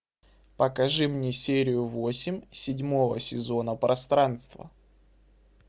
покажи мне серию восемь седьмого сезона пространство